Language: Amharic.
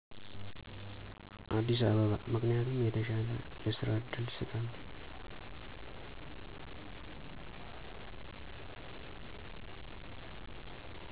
አዲሰ አበባ ምከንያቱም የተሻለ የስራ ዕድል ስላለ።